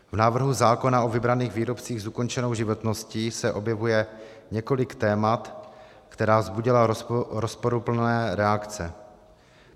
V návrhu zákona o vybraných výrobcích s ukončenou životností se objevuje několik témat, která vzbudila rozporuplné reakce.